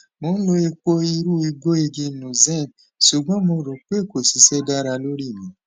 mo n lo epo irun egboigi nuzen ṣugbọn mo ro pe ko sise dara lori mi